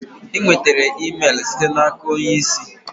Ị nwetara email site n'aka onye isi?